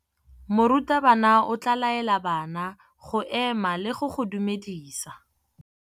Morutabana o tla laela bana go ema le go go dumedisa.